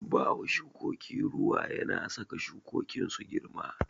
Bawa shukoki ruwa yana saka shukokin su girma.